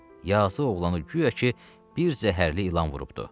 Yazıq oğlanı guya ki, bir zəhərli ilan vurubdur.